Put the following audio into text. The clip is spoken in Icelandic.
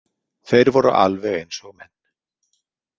Þeir voru alveg eins og menn.